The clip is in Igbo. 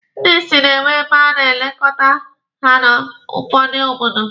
Ndị isi na-enwe ebe a na-elekọta ha n'ụfọdụ obodo.